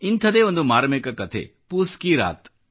ಇಂಥದೇ ಒಂದು ಮಾರ್ಮಿಕ ಕಥೆ ಪೂಸ್ ಕಿ ರಾತ್